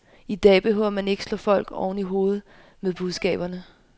I dag behøver man ikke slå folk oven i hovedet med budskaberne.